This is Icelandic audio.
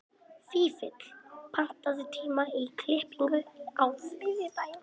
Fífill, pantaðu tíma í klippingu á þriðjudaginn.